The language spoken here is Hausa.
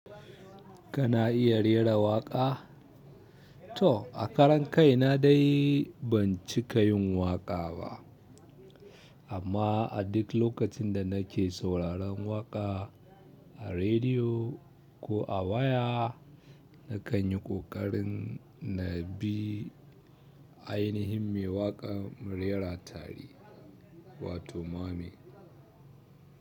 Kana iya rera waƙa? To, a karan kaina dai ban cika yin waƙa ba. Amma a duk lokacin da nake sauraron waƙa a rediyo ko a waya, nakan yi ƙoƙarin na bi ainihin mai waƙar mu rera tari wato myming.